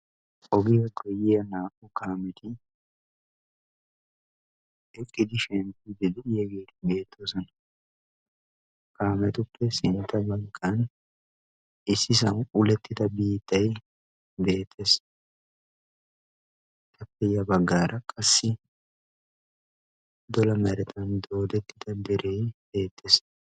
ogiyaa koyiya naa''u kaameti eqqidi shenikudi de'ageeti beettoosona kaametuppe sintta baggaan issi sahuwa ulettida biittay beettees tappelay baggaara qassi dola meratan doodettida deree beettees